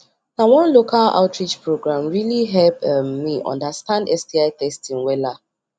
na one local outreach program really help um me understand sti testing wella